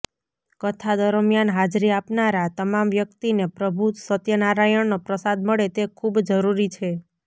કથા દરમિયાન હાજરી આપનારા તમામ વ્યક્તિને પ્રભુ સત્યનારાયણનો પ્રસાદ મળે તે ખુબ જરૂરી છે